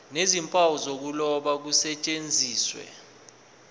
nezimpawu zokuloba kusetshenziswe